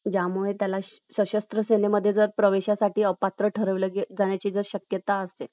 ज्यामुळे त्याला शास्त्र सेनेमध्ये प्रवेशासाठी जर त्याला अपात्र ठरवण्याची जर शक्यता असेल